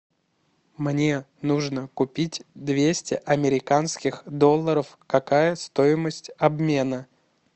мне нужно купить двести американских долларов какая стоимость обмена